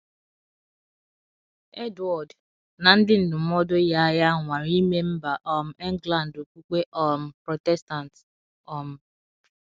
Edward na ndị ndụmọdụ ya ya nwara ime mba um England okpukpe um Protestant. um